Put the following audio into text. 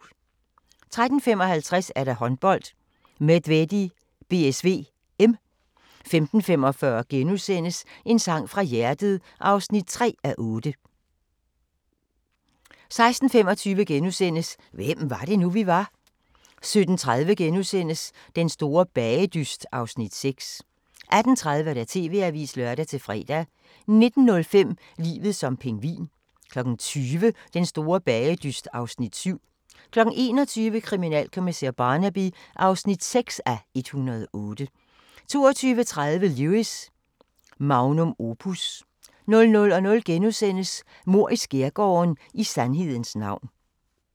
13:55: Håndbold: Medvedi-BSV (m) 15:45: En sang fra hjertet (3:8)* 16:25: Hvem var det nu, vi var? * 17:30: Den store bagedyst (Afs. 6)* 18:30: TV-avisen (lør-fre) 19:05: Livet som pingvin 20:00: Den store bagedyst (Afs. 7) 21:00: Kriminalkommissær Barnaby (6:108) 22:30: Lewis: Magnum opus 00:00: Mord i skærgården: I sandhedens navn *